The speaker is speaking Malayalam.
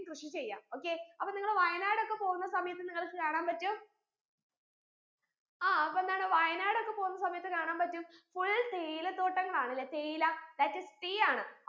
കൃഷി ചെയ്യാ okay അപ്പൊ നിങ്ങൾ വയനാട് ഒക്കെ പോകുന്ന സമയത്ത് നിങ്ങൾക്ക് കാണാൻ പറ്റും ആ അപ്പൊ എന്താണ് വയനാട് ഒക്കെ പോകുന്ന സമയത്ത് കാണാൻ പറ്റും full തേയില തോട്ടങ്ങളാണ് ലെ തേയില that is tea ആണ്